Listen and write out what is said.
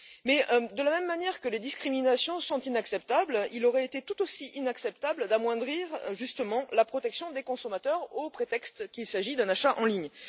Mais, de la même manière que les discriminations sont inacceptables, il aurait été tout aussi inacceptable d'amoindrir injustement la protection des consommateurs au prétexte qu'il s'agit d'un achat en ligne.